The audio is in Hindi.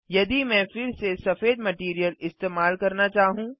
यदि मैं फिर से सफेद मटैरियल इस्तेमाल करना चाहूँ